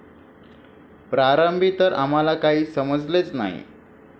प्रारंभी तर आम्हाला काही समजलेच नाही.